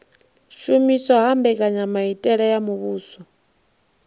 shumiswa ha mbekanyamitele ya muvhuso